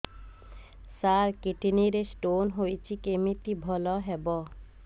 ସାର kidney ରେ stone ହେଇଛି କମିତି ଭଲ ହେବ